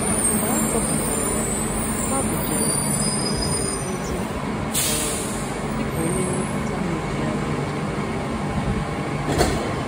Mgbe a tọhapụrụ ya, Madu jere um ozi um dị ka onye nlekọta na-ejegharị ejegharị. um